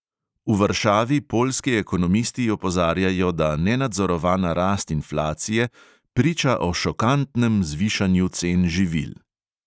V varšavi poljski ekonomisti opozarjajo, da nenadzorovana rast inflacije priča o "šokantnem zvišanju cen živil".